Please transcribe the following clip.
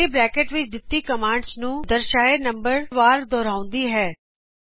ਇਹ curly bracket ਵਿੱਚ ਦਿੱਤੀ ਕਮਾਂਡਜ਼ ਨੂੰ ਦਰਸ਼ਾਏ ਨੰਬਰ ਵਾਰ ਦੋਹਰਾਉਂਦੀ ਹੈ